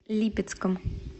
липецком